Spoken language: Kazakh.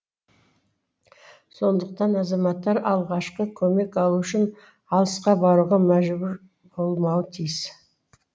сондықтан азаматтар алғашқы көмек алу үшін алысқа баруға мәжбүр болмауы тиіс